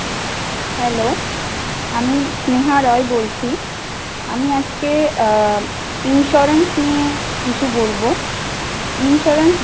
Hello আমি স্নেহা রায় বলছি আমি আজকে আ insurance নিয়ে কিছু বলব।